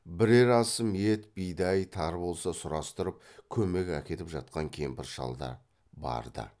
бірер асым ет бидай тары болса сұрастырып көмек әкетіп жатқан кемпір шалдар барды